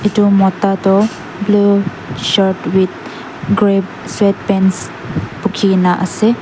etu mota toh blue shirt with grey sweat pants bukhi gina ase.